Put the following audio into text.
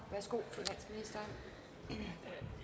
i